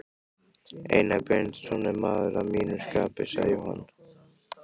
Einar Benediktsson er maður að mínu skapi, sagði Jóhann.